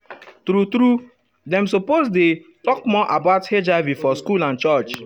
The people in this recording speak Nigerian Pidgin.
true true dem suppose dey[um]talk more about hiv for school and church.